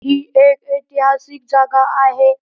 ही एक ऐतिहासिक जागा आहे.